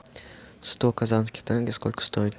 сто казахских тенге сколько стоит